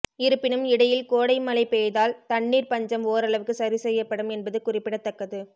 இருப்பினும் இடையில் கோடை மழை பெய்தால் தண்ணீர் பஞ்சம் ஓரளவுக்கு சரி செய்யப்படும் என்பது குறிப்பிடத்தக்கது